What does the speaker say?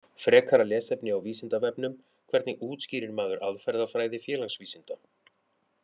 Frekara lesefni á Vísindavefnum: Hvernig útskýrir maður aðferðafræði félagsvísinda?